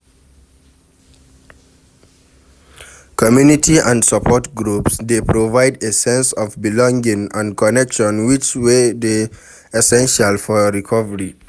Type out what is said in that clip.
Community and support groups dey provide a sense of belonging and connection which wey dey essential for recovery.